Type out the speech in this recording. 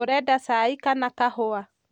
ũrenda cai kana kahũa?